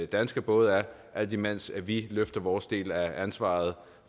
danske både er alt imens vi løfter vores del af ansvaret